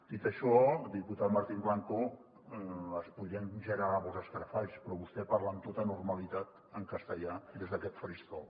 dit això diputat martín blanco es podrien generar molts escarafalls però vostè parla amb tota normalitat en castellà des d’aquest faristol